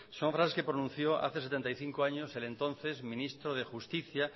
son frases que pronunció hace setenta y cinco años el entonces ministro de justicia